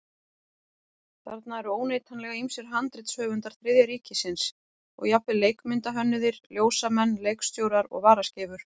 Þarna eru óneitanlega ýmsir handritshöfundar Þriðja ríkisins og jafnvel leikmyndahönnuðir, ljósamenn, leikstjórar og varaskeifur.